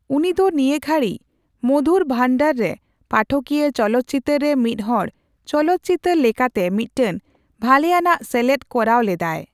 ᱩᱱᱤᱫᱚ ᱱᱤᱭᱟᱹ ᱜᱷᱟᱹᱲᱤ ᱢᱚᱫᱷᱩᱨ ᱵᱷᱟᱱᱫᱟᱨ ᱨᱮ ᱯᱟᱴᱚᱠᱤᱭᱟ ᱪᱚᱞᱚᱛ ᱪᱤᱛᱟᱹᱨ ᱨᱮ ᱢᱤᱫᱦᱚᱲ ᱪᱚᱞᱚᱛ ᱪᱤᱛᱟᱹᱨ ᱞᱮᱠᱟᱛᱮ ᱢᱤᱫᱴᱟᱝ ᱵᱷᱟᱞᱮᱭᱟᱱᱟᱜ ᱥᱮᱞᱮᱫ ᱠᱚᱨᱟᱣ ᱞᱮᱫᱟᱭ ᱾